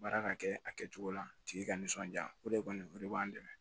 Baara ka kɛ a kɛcogo la tigi ka nisɔndiya o de kɔni o de b'an dɛmɛ